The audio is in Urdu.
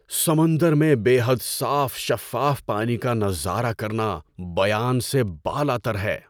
سمندر میں بے حد صاف شفاف پانی کا نظارہ کرنا بیان سے بالاتر ہے!